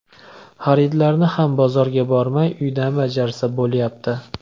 Xaridlarni ham bozorga bormay, uydan bajarsa bo‘lyapti.